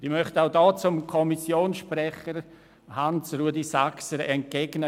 Ich möchte Kommissionssprecher Hans-Rudolf Saxer entgegnen: